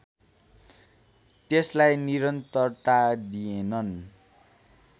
त्यसलाई निरन्तरता दिएनन्